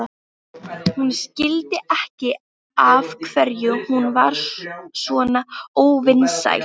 Hún skildi ekki af hverju hún var svona óvinsæl.